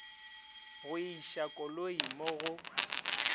go iša koloi mo go